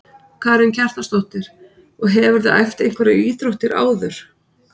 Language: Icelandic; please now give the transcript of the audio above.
Karen Kjartansdóttir: Og hefurðu æft einhverjar íþróttir áður?